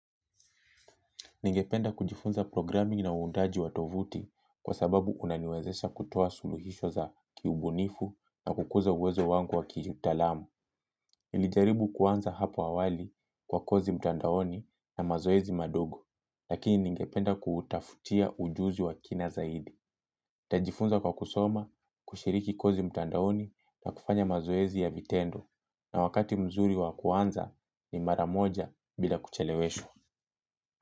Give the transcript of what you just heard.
Ningependa kujifunza programming na uundaji wa tovuti kwa sababu unaniwezesha kutoa suluhisho za kiubunifu na kukuza uwezo wangu wa kiutalamu. Nilijaribu kuanza hapo awali kwa kozi mtandaoni na mazoezi madogo, lakini ningependa kutafutia ujuzi wa kina zaidi. Tajifunza kwa kusoma kushiriki kozi mtandaoni na kufanya mazoezi ya vitendo na wakati mzuri wa kuanza ni maramoja bila kucheleweshwa.